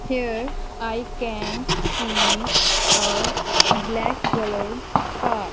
here I can see a black colour car.